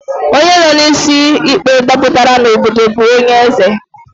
Onye nọ n'isi ikpe dapụtara n'obodo bụ onye eze